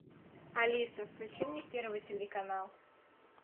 алиса включи мне первый телеканал